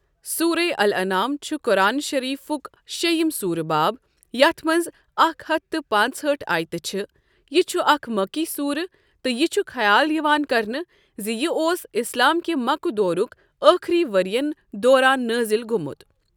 سورَے الانعام چھُ قُرآن شٔریٖفُک شییِم سوٗرٕ باب ، یَتھ مَنٛز اکھ ہتھ تہٕ پانٛژہٲٹھ آیتہٕ چھِ۔ یہٕ چھُ اَکھ مکی سوٗرٕ تہٕ یہٕ چھُ خیال یوان کرنہٕ زِ یہٕ اوس اسلام کِہ مکہٕ دورک ٲخری ؤرۍیَن دوران نٲزل گۆمُت۔